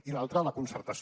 i l’altra la concertació